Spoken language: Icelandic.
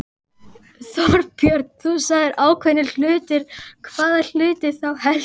Þorbjörn: Þú sagðir ákveðnir hlutir, hvaða hluti þá helst?